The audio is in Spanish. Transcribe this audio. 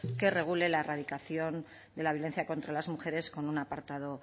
que regule la erradicación de la violencia contra las mujeres con un apartado